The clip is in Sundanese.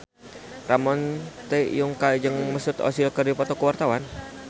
Ramon T. Yungka jeung Mesut Ozil keur dipoto ku wartawan